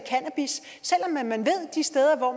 de steder hvor